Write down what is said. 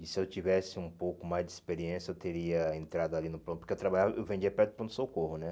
E se eu tivesse um pouco mais de experiência, eu teria entrado ali no pronto, porque eu trabalhava, eu vendia perto do pronto-socorro, né?